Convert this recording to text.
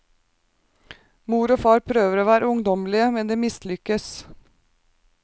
Mor og far prøver å være ungdommelige, men de mislykkes.